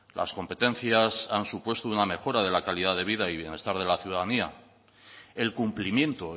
las competencias han supuesto una mejora de la calidad de vida y bienestar de la ciudadanía el cumplimiento